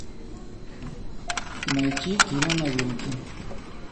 найти кино новинки